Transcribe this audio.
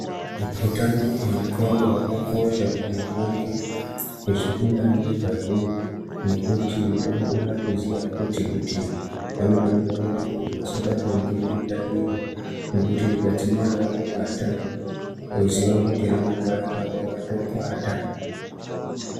Mikhuhlani yengqondo yakakosha kuti mundu ange achifunda nezvazvo nekuti anofanirwa kuziya futhi kuthi anofanirwa kuti asabatwa nemikhuhlani iyi nekuti ukaona yadzimira yakubata woziva kuti ramangwani rako ratopata.